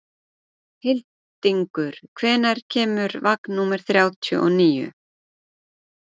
Hildingur, hvenær kemur vagn númer þrjátíu og níu?